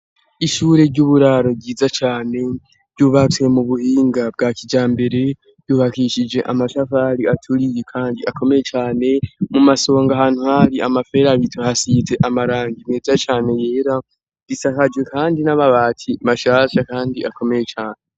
Ishure ry'uburaro ryiza cane ryubatswe mu buhinga bwa kijambere. Ryubakishije amashafari aturiye kandi akomeye cane. Mu masonga, ahantu hari amaferabetu aize amarangi meza cane yera, risakajwe kandi n'amabati mashasha kandi akomeye cane.